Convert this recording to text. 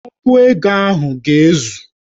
Ogu ego ahụ ga-ezu